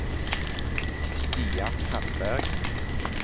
Stian Tandberg